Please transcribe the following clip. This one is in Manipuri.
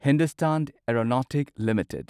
Hindustan aeronautics limited